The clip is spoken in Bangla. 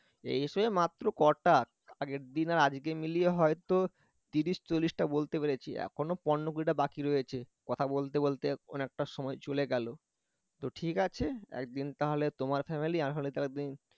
মাত্র কটা আগের দিন আর আজকে মিলিয়ে হয়তো তিরিশ চল্লিশ টা বলতে পেরেছি এখনো পনের কুড়িটা বাকি রয়েছে। কথা বলতে বলতে অনেকটা সময় চলে গেল তো ঠিক আছে একদিন তাহলে তোমার ফ্যামিলি আমার ফ্যামিলি তাহলে একদিন